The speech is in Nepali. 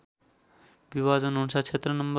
विभाजन अनुसार क्षेत्र नं